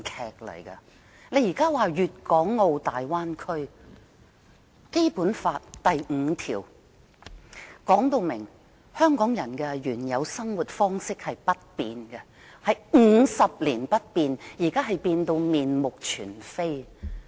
現時，我們討論有關粵港澳大灣區的發展，但《基本法》第五條訂明，香港人的原有生活方式50年不變，可是現已面目全非。